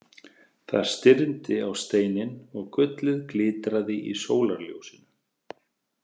Það stirndi á steininn og gullið glitraði í sólarljósinu.